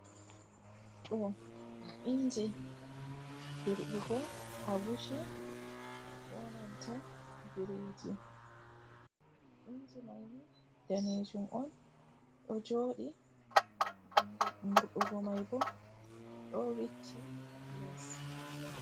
Do inji dirbugo agushi ko nanta biriji, inji maini danejum on do jodi hunde murdugo mai bo do vicci les.